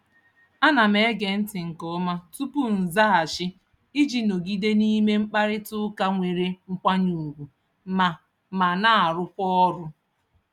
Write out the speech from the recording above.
Ana m ege ntị nke ọma tupu m zaghachi iji nọgide n'ime mkparịtaụka nwere nkwanye ugwu ma ma na-arụkwa ọrụ.